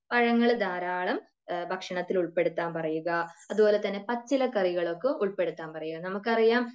പഴങ്ങൾ ധാരാളം ഭക്ഷണത്തിൽ ഉൾപ്പെടുത്താൻ പറയുക. അതുപോലെ തന്നെ പച്ചിലക്കറികളൊക്കെ ഉൾപെടുത്താൻ പറയുക. നമുക്കറിയാം